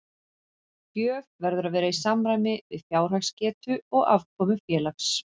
Gjöf verður að vera í samræmi við fjárhagsgetu og afkomu félags.